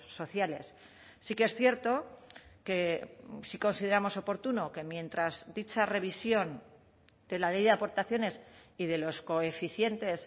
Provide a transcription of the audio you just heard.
sociales sí que es cierto que sí consideramos oportuno que mientras dicha revisión de la ley de aportaciones y de los coeficientes